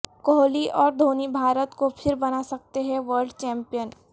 کوہلی اور دھونی بھارت کو پھر بنا سکتے ہیں ورلڈ چمپئن